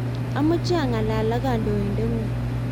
amache angalal ak kantointe ngung.